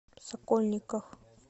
сокольниках